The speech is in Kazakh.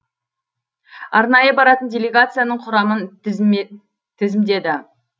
арнайы баратын делегацияның құрамын тізімдеді